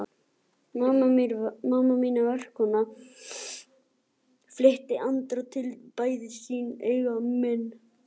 Mamma mín er verkakona, flýtti Andri sér að bæta við.